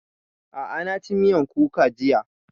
A'a na ci miyan kuka jiya